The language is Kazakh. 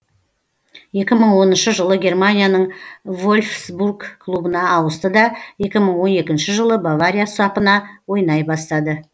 екі мың оныншы жылы германияның вольфсбург клубына ауысты да екі мың он екінші жылы бавария сапына ойнай бастады